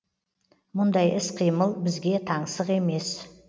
мұндай іс қимыл бізге таңсық емес